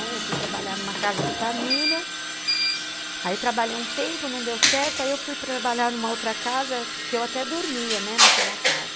Eu fui trabalhar numa casa de família, aí trabalhei um tempo, não deu certo, aí eu fui trabalhar numa outra casa, que eu até dormia, né, naquela casa.